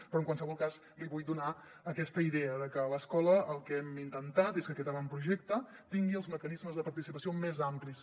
però en qualsevol cas li vull donar aquesta idea de que a l’escola el que hem intentat és que aquest avantprojecte tingui els mecanismes de participació més amplis